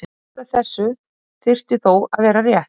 Ekkert af þessu þyrfti þó að vera rétt.